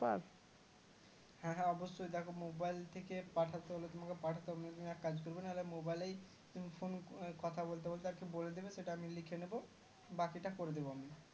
হ্যাঁ হ্যাঁ অবশ্যই দেখো mobile থেকে পাঠাতে হলে তোমাকে পাঠাতে হবে না তুমি এক কাজ করবে না হলে mobile লেই তুমি phone কথা বলতে বলতে আজকে বলে দিবে সেটা আমি লিখে নিবো বাকিটা করে দিবো আমি